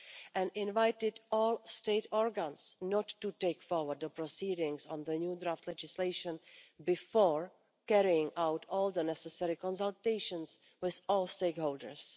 and called on all state bodies not to take forward the proceedings on the new draft legislation before carrying out all the necessary consultations with all stakeholders.